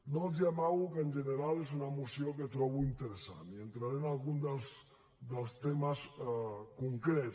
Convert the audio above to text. no els amago que en general és una moció que trobo interessant i entraré en algun dels temes concrets